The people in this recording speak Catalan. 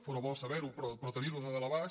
fóra bo saber·ho però tenir·ho de dalt a baix